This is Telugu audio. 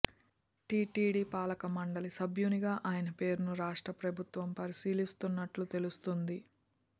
టీటీడీ పాలక మండలి సభ్యునిగా ఆయన పేరును రాష్ట్ర ప్రభుత్వం పరిశీలిస్తున్నట్లు తెలుస్తోంది